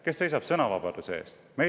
Kes seisab sõnavabaduse eest?